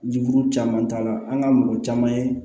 Juru caman t'a la an ka mɔgɔ caman ye